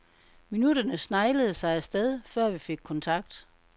Minutterne sneglede sig af sted, før vi fik kontakt.